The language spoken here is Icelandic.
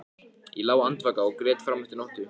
Ég lá andvaka og grét fram eftir nóttu.